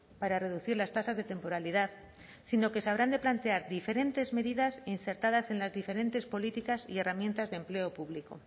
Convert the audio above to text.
para reducir las tasas de temporalidad sino que se habrán de plantear diferentes medidas insertadas en las diferentes políticas y herramientas de empleo público